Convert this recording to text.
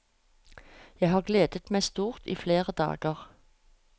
Jeg har gledet meg stort i flere dager.